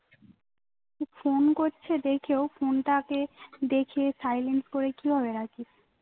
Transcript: phone করছে দেখেও phone টাকে দেখে silent করে কিভাবে রাখিস